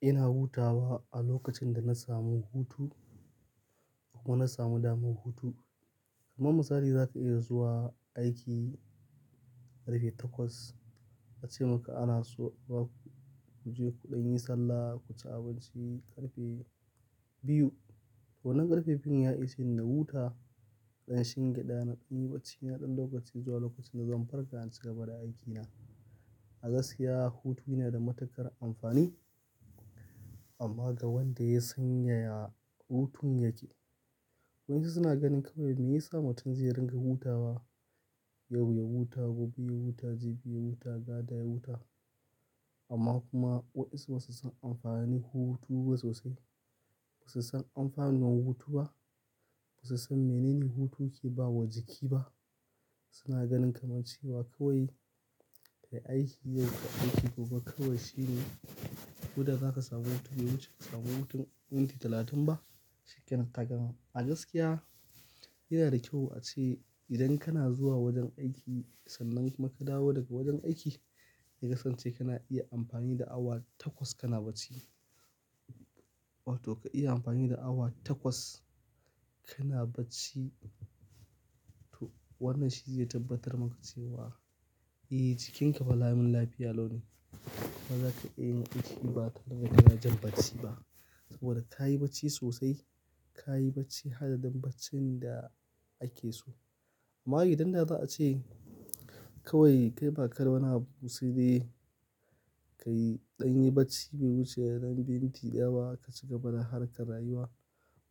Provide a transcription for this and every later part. Ina hutawa a lokacin da na samu hutu kuma na samu damar hutu. Kaman misali za ka iya zuwa aiki ƙarfe takwas a ce maka ana so ba ku ku je kuɗan yi sallah ku ci abinci ƙarfe biyu. To wannan ƙarfe biyun ya isheni na huta, ɗan shingi ɗan naɗan yi bacci naɗan lokaci zuwa lokacin da zan farka in ci gaba da aikina. A gaskiya hutu yana da matuƙar amfani amma ga wanda ya san yaya hutun yake. Waɗansu suna ganin kawai me ya samu tun zai ringa hutawa. Yau ya huta, gobe ya huta, jibi ya huta, gata ya huta. Amma kuma wasu basu san amfanin hutu ba sosai. Basu san amfanin hutu ba. Basu san menene hutu yake bawa jiki ba. Suna ganin kamar cewa kawai ka yi aiki yau, kai aiki gobe kawai shine. Koda zaka samu hutu, bai wuce ka samu hutun minti talatin ba. Shikenan ta gama. A gaskiya yana da kyau a ce idan kana zuwa wajen aiki sannan ka dawo daga wurin aiki, ya kasance kana iya amfani da awa takwas kana bacci. Wato ka iya amfani da awa takwas kana bacci. To wannan shi zai tabbatar maka cewa eh jikinka ba lamun lafiya lau ne. Ba za ka iya yin aiki ba ka ringa ka yana jin bacci ba saboda ka yi bacci sosai. Ka yi bacci hadadin baccin da ake so. Amma idan za a ce kawai kai bakada wani busaide, ka yi ɗan yi bacci bai wuce dan minti ɗaya ba ka ci gaba da harkar rayuwa.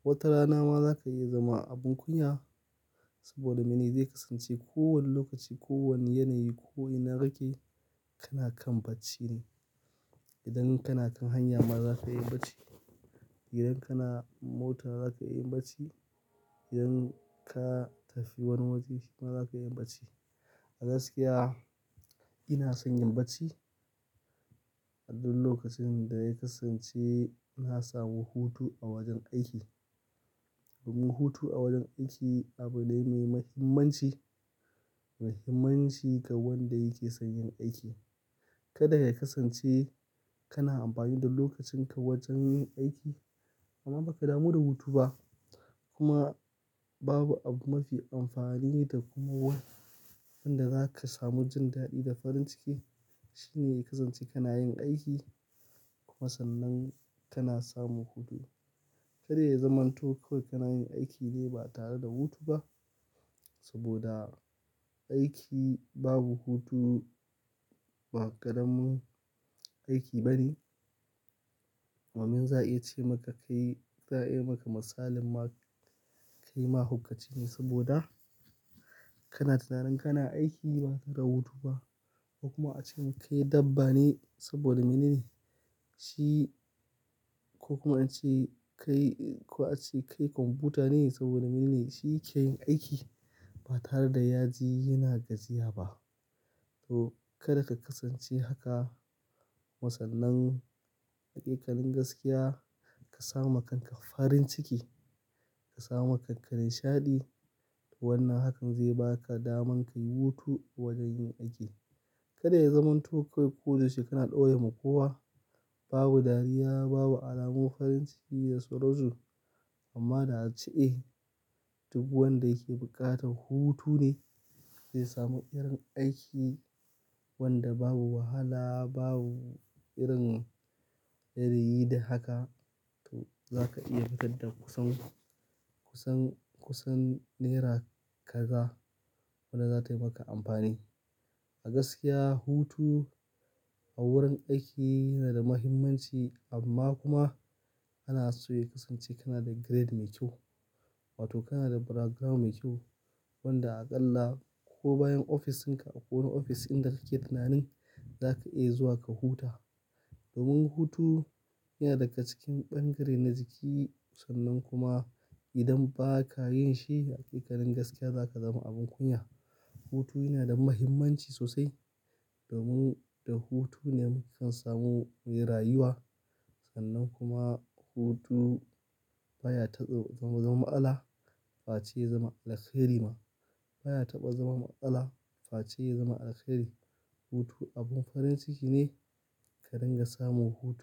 Wata rana ma za ka iya zama abin kunya saboda mene zai kasance kowane lokaci, kowane yanayi, ko ina rage kana kan bacci ne. Idan kana kan hanya ma za ka iya bacci. Idan kana mota za ka iya bacci. Idan ka tafi wani wajeshi ma za ka iya bacci. A gaskiya ina son yin bacci adun lokacin da ya kasance na samu hutu a wajen aiki. Domin hutu a wajen aiki abu ne mai mahimmanci. Mahimmanci ga wanda yake son yin aiki. Kada ya kasance kana amfani da lokacinka wajen yin aiki amma ba ka damu da hutu ba. Kuma babu abu mafi amfani da kuma wanda za ka samu jin daɗi da farin ciki. Shi ne ya kasance kana yin aiki kuma sannan kana samu hutu. Kada ya zamanto kawai kana yin aiki ne ba tare da hutu ba saboda aiki babu hutu ba ƙaramin aiki bane. Amma min za a iya ce maka ka yi, za a iya maka misalin ma kai mahaukaci ne saboda kana tunanin kana aiki ba tare da hutu ba. Kuma a ce maka yi dabba ne saboda mene ne shi ko kuma a ce kai, ko a ce kai kwamfuta ne saboda mene ne shi yake yin aiki ba tare da ya ji yana gajiya ba. To kada ka kasance haka. Kumasannan haƙiƙanin gaskiya ka sama kanka farin ciki, ka sama kanka nishaɗi. To wannan hakan zai baka daman ka yi hutu a wajen yin aiki. Kada ya zamanto kawai ko dayau she kana ɗore ma kowa babu dariya, babu alamun farin ciki da suransu. Amma da a ce eh duk wanda yake buƙatar hutu ne zai samu irin aiki wanda babu wahala, babu irin yanayi da haka. To za ka iya fitar da kusan, kusan, kusan naira ka ga wadda zata yi maka amfani. A gaskiya hutu a wurin aiki yana da mahimmanci amma kuma ana so ya kasance kana da grade mai kyau. Wato kana da background mai kyau wanda aƙalla ko bayan ofisinka a ko wani ofis inda kake tunanin za ka iya zuwa ka huta. Domin hutu yana daga cikin bangare na jiki sannan kuma idan ba ka yin shi hakikanin gaskiya za ka zama abin kunya. Hutu yana da mahimmanci sosai domin da hutu ne muke kan samu mai rayuwa. Sannan kuma hutu baya taɓa zama, zama, zama matsala fa ce ya zama alheri ma. Baya taɓa zama matsala fa ce ya zama alheri. Hutu abun farin ciki ne ka ringa samu hutu.